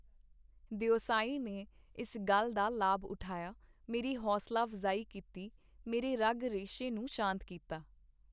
ਦਿਓਸਾਈ ਨੇ ਇਸ ਗੱਲ ਦਾ ਲਾਭ ਉਠਾਇਆ, ਮੇਰੀ ਹੌਂਸਲਾ-ਅਫਜ਼ਾਈ ਕੀਤੀ, ਮੇਰੇ ਰਗ-ਰੇਸ਼ੇ ਨੂੰ ਸ਼ਾਂਤ ਕੀਤਾ.